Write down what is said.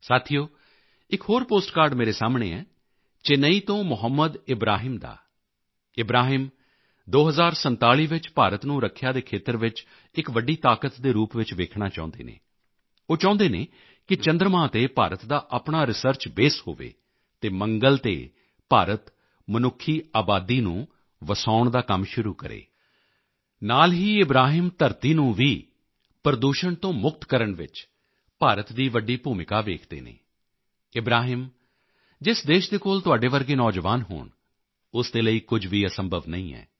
ਸਾਥੀਓ ਇੱਕ ਹੋਰ ਪੋਸਟ ਕਾਰਡ ਮੇਰੇ ਸਾਹਮਣੇ ਹੈ ਚੇਨਈ ਤੋਂ ਮੁਹੰਮਦ ਇਬਰਾਹਿਮ ਦਾ ਇਬਰਾਹਿਮ 2047 ਵਿੱਚ ਭਾਰਤ ਨੂੰ ਰੱਖਿਆ ਦੇ ਖੇਤਰ ਵਿੱਚ ਇੱਕ ਵੱਡੀ ਤਾਕਤ ਦੇ ਰੂਪ ਚ ਵੇਖਣਾ ਚਾਹੁੰਦੇ ਹਨ ਉਹ ਚਾਹੁੰਦੇ ਹਨ ਕਿ ਚੰਦਰਮਾ ਤੇ ਭਾਰਤ ਦਾ ਆਪਣਾ ਰਿਸਰਚ ਬਾਸੇ ਹੋਵੇ ਅਤੇ ਮੰਗਲ ਤੇ ਭਾਰਤ ਮਨੁੱਖੀ ਆਬਾਦੀ ਨੂੰ ਵਸਾਉਣ ਦਾ ਕੰਮ ਸ਼ੁਰੂ ਕਰੇ ਨਾਲ ਹੀ ਇਬਰਾਹਿਮ ਧਰਤੀ ਨੂੰ ਵੀ ਪ੍ਰਦੂਸ਼ਣ ਤੋਂ ਮੁਕਤ ਕਰਨ ਵਿੱਚ ਭਾਰਤ ਦੀ ਵੱਡੀ ਭੂਮਿਕਾ ਵੇਖਦੇ ਹਨ ਇਬਰਾਹਿਮ ਜਿਸ ਦੇਸ਼ ਦੇ ਕੋਲ ਤੁਹਾਡੇ ਵਰਗੇ ਨੌਜਵਾਨ ਹੋਣ ਉਸ ਦੇ ਲਈ ਕੁਝ ਵੀ ਅਸੰਭਵ ਨਹੀਂ ਹੈ